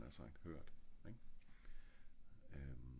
så er den jo hurtig læst havde jeg nært sagt hørt ing?